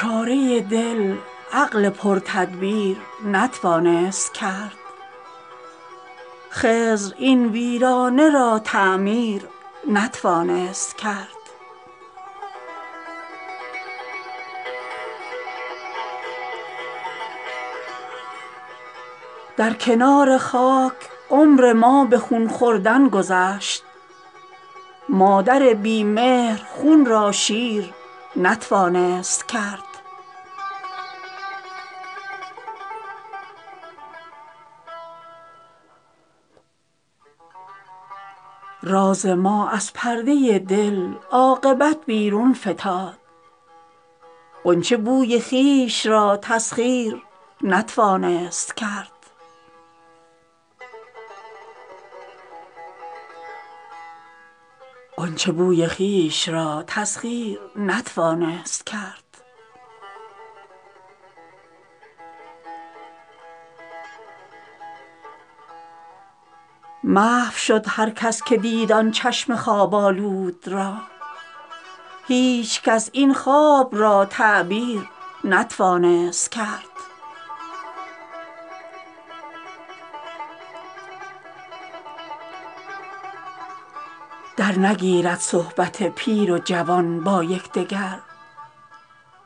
چاره دل عقل پر تدبیر نتوانست کرد خضر این ویرانه را تعمیر نتوانست کرد در کنار خاک عمر ما به خون خوردن گذشت مادر بی مهر خون را شیر نتوانست کرد راز ما از پرده دل عاقبت بیرون فتاد غنچه بوی خویش را تسخیر نتوانست کرد گرچه خط داد سخن در مصحف روی تو داد نقطه خال ترا تفسیر نتوانست کرد محو شد هر کس که دید آن چشم خواب آلود را هیچ کس این خواب را تعبیر نتوانست کرد بی سرانجامی و موزونی هم آغوش همند سرو رخت خویش را تغییر نتوانست کرد در نگیرد صحبت پیر و جوان با یکدگر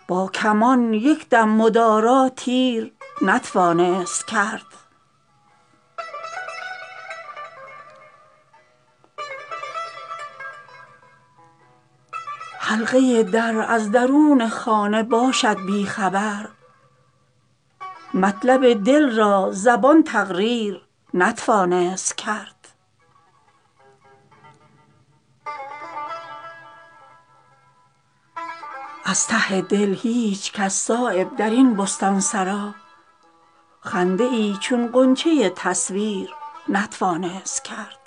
با کمان یک دم مدارا تیر نتوانست کرد نعمت عالم حریف اشتهای حرص نیست چشم موری را سلیمان سیر نتوانست کرد حلقه در از درون خانه باشد بیخبر مطلب دل را زبان تقریر نتوانست کرد آن شکار لاغرم کز ناتوانی خون من رنگ آب تیغ را تغییر نتوانست کرد با بلای آسمانی پنجه کردن مشکل است برق را منع از نیستان شیر نتوانست کرد از ته دل هیچ کس صایب درین بستانسرا خنده ای چون غنچه تصویر نتوانست کرد